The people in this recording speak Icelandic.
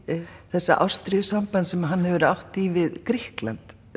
þessa ástríðusambands sem hann hefur átt í við Grikkland